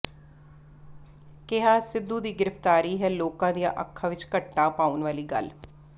ਕਿਹਾ ਸਿੱਧੂ ਦੀ ਗ੍ਰਿਫ਼ਤਾਰੀ ਹੈ ਲੋਕਾਂ ਦੀਆਂ ਅੱਖਾਂ ਵਿਚ ਘੱਟਾ ਪਾਉਣ ਵਾਲੀ ਗੱਲ